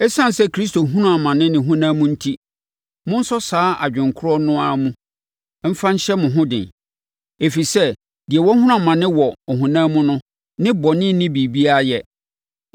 Esiane sɛ Kristo hunuu amane ne honam mu enti, monsɔ saa adwene korɔ no ara mu mfa nhyɛ mo ho den. Ɛfiri sɛ, deɛ wahunu amane wɔ honam mu no ne bɔne nni biribiara yɛ.